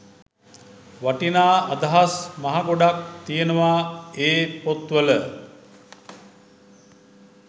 වටිනා අදහස් මහ ගොඩක් තියෙනවා ඒ පොත් වල